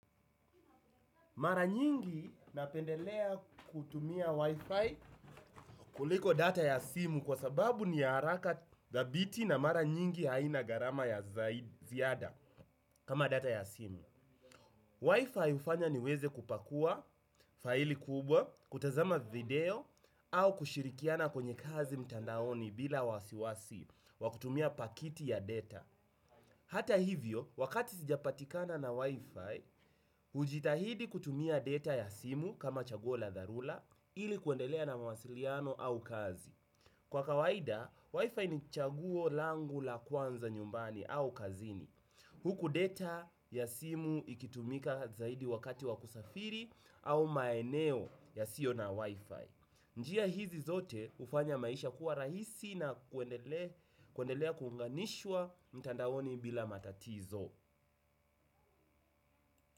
Mara nyingi napendelea kutumia wifi kuliko data ya simu kwa sababu ni haraka thabiti na mara nyingi haina gharama ya ziada kama data ya simu. Wifi hufanya niweze kupakua faili kubwa, kutazama video au kushirikiana kwenye kazi mtandaoni bila wasiwasi wa kutumia pakiti ya data. Hata hivyo, wakati sijapatikana na wifi, hujitahidi kutumia data ya simu kama chaguo la dharura ili kuendelea na mawasiliano au kazi. Kwa kawaida, wifi ni chaguo langu la kwanza nyumbani au kazini. Huku data ya simu ikitumika zaidi wakati wa kusafiri au maeneo yasiyo na wifi. Njia hizi zote hufanya maisha kuwa rahisi na kuendelea kunganishwa mtandaoni bila matatizo.